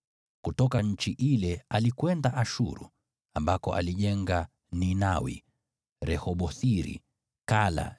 Kutoka nchi ile alikwenda Ashuru, ambako alijenga Ninawi, Rehoboth-iri, Kala,